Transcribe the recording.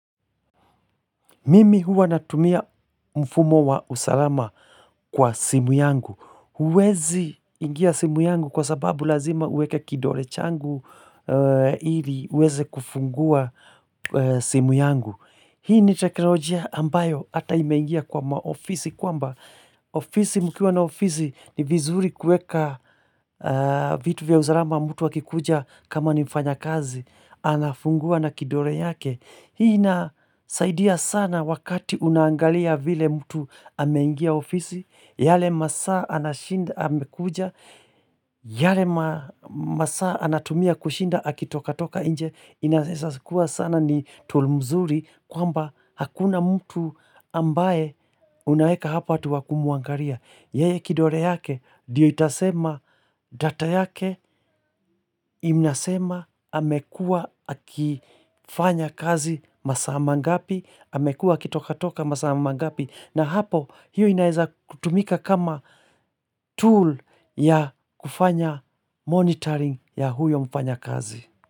Mimi huwa natumia mfumo wa usalama kwa simu yangu. Huwezi ingia simu yangu kwa sababu lazima uweka kidore changu ili uweze kufungua simu yangu. Hii ni teknolojia ambayo ata imeingia kwa maofisi kwamba. Mkiwa na ofisi ni vizuri kueka vitu vya usalama mtu akikuja kama nimfanyakazi. Anafungua na kidore yake. Hii inasaidia sana wakati unaangalia vile mtu ameingia ofisi, yale masaa anashinda amekuja, yale masaa anatumia kushinda akitoka toka inje, inaeza kuwa sana ni tool mzuri kwamba hakuna mtu ambaye unaeka hapa tu wa kumuangaria. Yeye kidore yake diyo itasema data yake inasema amekua akifanya kazi masaa mangapi, amekua akitoka toka masaa mangapi na hapo hiyo inaeza kutumika kama tool ya kufanya monitoring ya huyo mfanyakazi.